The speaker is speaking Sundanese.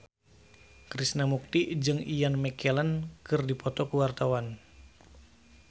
Krishna Mukti jeung Ian McKellen keur dipoto ku wartawan